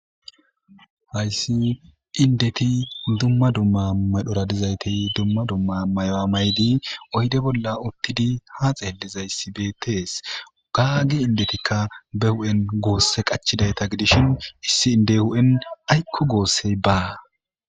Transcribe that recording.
Hayssi indeti dumma dumma madhoradizaytey dumma dumma may'a maydi oyde bolla uttidi ha xeelizayssi beetees gaagi indetikka be hu7en goosse qachidayta gidishin issi inde hu7en aykko goossey baa.